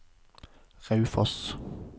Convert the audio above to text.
Raufoss